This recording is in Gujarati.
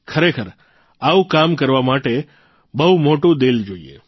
ખરેખર આવું કરવા માટે બહુ મોટું દિલ જોઇએ